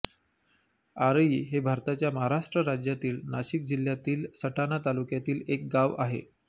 आरई हे भारताच्या महाराष्ट्र राज्यातील नाशिक जिल्ह्यातील सटाणा तालुक्यातील एक गाव आहे